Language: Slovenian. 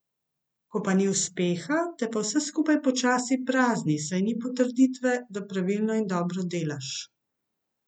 Ko pa ni uspeha, te pa vse skupaj počasi prazni, saj ni potrditve, da pravilno in dobro delaš.